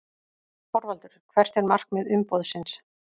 ÞORVALDUR: Hvert er markmið umboðsins?